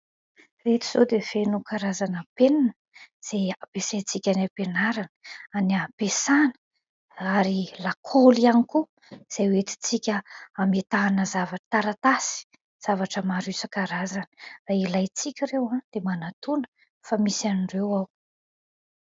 Ireto izao dia feno karazana penina izay ampiasaintsika any am-pianarana any am-piasana ary lakoly ihany koa, izay ho entintsika hametahana zavatra, taratasy, zavatra maro isankarazany ilaintsika ireo dia manatona fa misy an'ireo ao.